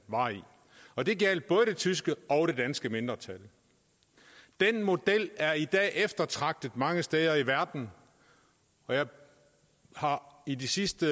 var i og det gjaldt både det tyske og det danske mindretal den model er i dag eftertragtet mange steder i verden og jeg har i de sidste